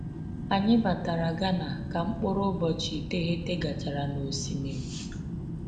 Anyị batara Ghana ka mkpụrụ ụbọchị iteghete gachara na osimiri.